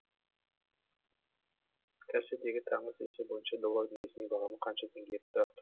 касе дегі таңғы сессия бойынша доллардың ресми бағамы қанша теңгеге тұрақтады